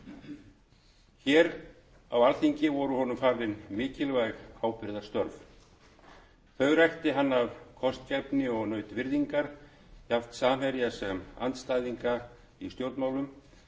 þjóðmála hér voru honum falin mikilvæg ábyrgðarstörf þau rækti hann af kostgæfni og naut virðingar jafnt samherja sem andstæðinga í stjórnmálum var